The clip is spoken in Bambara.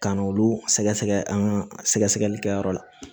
Ka n'olu sɛgɛ sɛgɛ an ka sɛgɛ sɛgɛli kɛyɔrɔ